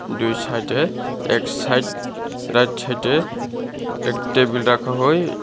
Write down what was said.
দুই সাইট -এ এক সাইট রাইট সাইট -এ এক টেবিল রাখা হয় --